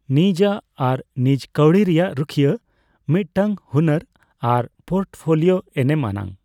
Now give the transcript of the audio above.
ᱱᱤᱡᱼᱟ ᱟᱨ ᱱᱤᱡ ᱠᱟᱹᱣᱰᱤ ᱨᱮᱭᱟᱜ ᱨᱩᱠᱷᱤᱭᱟᱹ ᱢᱤᱫᱴᱟᱝ ᱦᱩᱱᱟᱹᱨᱟᱱ ᱯᱳᱨᱴᱯᱷᱳᱞᱤᱣᱳ ᱮᱱᱮᱢ ᱟᱱᱟᱜ ᱾